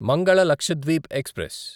Mangala Lakshadweep express